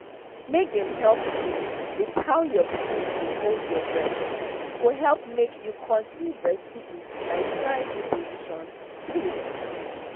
make dem help you with how your pikin go hold your breast go help make you continue breastfeeding by trying new positions true